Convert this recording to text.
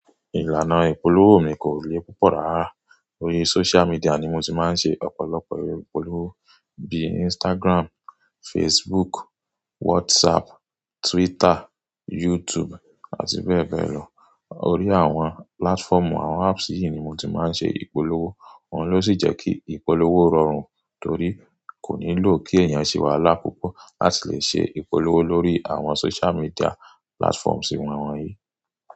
Ìlànà ìpolówó mi kò le púpọ̀ rárá. Orí social media ni mo ti máa ń ṣe ọ̀pọ̀lọpọ̀ ìpolówó bíi Instagram, Facebook, WhatsApp, Twitter, YouTube àti bẹ́ẹ̀ bẹ́ẹ̀ lọ. Orí àwọn platform àwọn apps yìí ni mo ti máa ń ṣe ìpolówó. Òhun ló sì jẹ́ kí ìpolówó rọrùn torí kò nílò kí èèyàn ṣèwálá púpọ̀ láti lè ṣe ìpolówó lórí àwọn social media platforms wón wọn yìí.